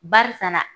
Barisa na